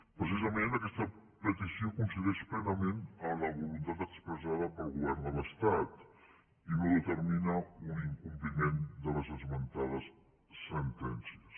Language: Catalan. precisament aquesta petició coincideix plenament amb la voluntat expressada pel govern de l’estat i no determina un incompliment de les esmentades sentències